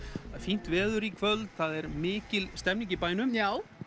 fínt veður í kvöld það er mikil stemming í bænum já